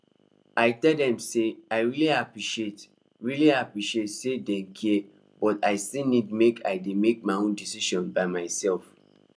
i tell dem say i really appreciate really appreciate say dem care but i still need make i dey make my own decisions by myself